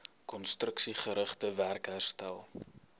konstruksiegerigte werk herstel